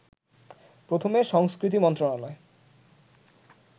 প্রথমে সংস্কৃতি মন্ত্রণালয়